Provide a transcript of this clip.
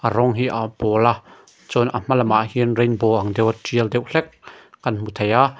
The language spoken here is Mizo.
rawng hi aa pawla chuan a hma lamah hian rainbow ang deuha tial deuh hlek kan hmu thei a.